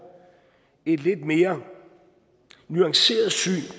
et lidt mere nuanceret syn